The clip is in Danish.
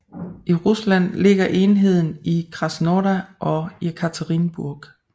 I Rusland ligger enheden i Krasnodar og Jekaterinburg